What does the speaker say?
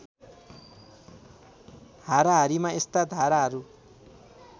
हाराहारीमा यस्ता धाराहरू